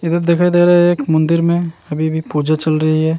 इधर दिखाई दे रहा है मंदिर में अभी भी पूजा चल रही है।